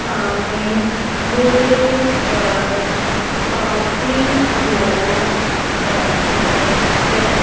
सामने मूडे पर काफी लोग बैठे हैं।